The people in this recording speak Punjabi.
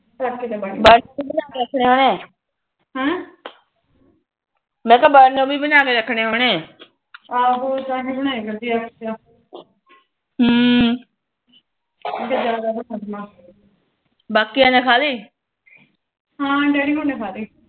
ਆਹੋ ਤਾਹੇ ਬਣਾਇਆ ਕਰਦੀ ਹਮ ਅੱਗੇ ਜਾਂਦਾ ਬਣਾਇਆ ਕਰਦੀ ਬਾਕੀਆਂ ਨੇ ਖਾਲੀ ਹਾ ਡੈਡੀ ਹੁਨਾ ਨੇ ਖਾਲੀ